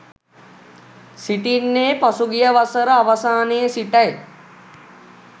සිටින්නේ පසුගිය වසර අවසානයේ සිටයි